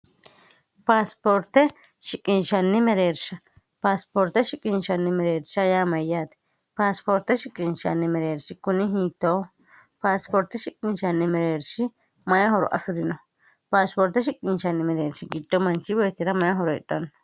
paasipoorte shiqinchanni mereersha paasipoorte shiqinchanni mereersha yaa mayyaati paasipoorte shiqinshanni mereershi kuni hiito paasipoorte shiqinchanni mereershi mayi horo afurino paasipoorte shiqinchanni mereershi giddo manchi boechi'ra may horo hidhanno